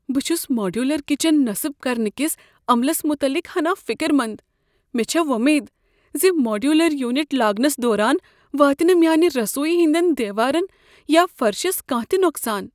بہٕ چھس modular kitchen نسب کرنہٕ کس عملس متعلق ہنا فِكر منٛد ۔مے٘ چھےٚ وومید ز ماڈیولر یونٹ لاگنس دوران واتہ نہٕ میٲنہ رسویی ہٕنٛدین دیوارن یا فرشس کانٛہہ تہ نۄقصان۔